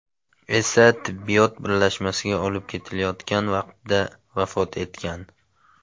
esa tibbiyot birlashmasiga olib ketilayotgan vaqtda vafot etgan.